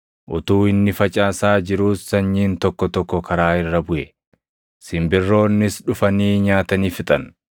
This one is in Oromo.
Utuu inni facaasaa jiruus sanyiin tokko tokko karaa irra buʼe; simbirroonnis dhufanii nyaatanii fixan.